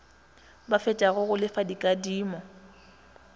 ba fetšago go lefa dikadimo